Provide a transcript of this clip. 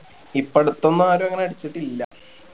ഇപ്പൊ അടുത്തൊന്നും ആരും അങ്ങനെ അടിച്ചിട്ടില്ല